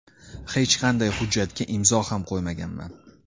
Hech qanday hujjatga imzo ham qo‘ymaganman.